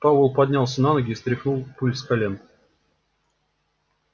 пауэлл поднялся на ноги и стряхнул пыль с колен